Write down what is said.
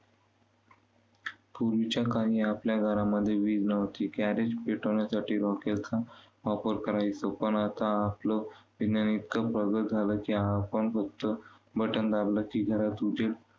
पूर्वीच्या काळी आपल्या घरांमध्ये वीज नव्हती. पेटवण्यासाठी रॉकेलचा वापर करायचो. पण आता आपलं विज्ञान इतकं प्रगत झालं की आपण फक्त button दाबलं की घरात उजेड